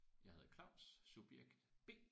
Jeg hedder Claus. Subjekt B